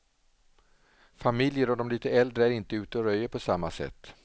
Familjer och de lite äldre är inte ute och röjer på samma sätt.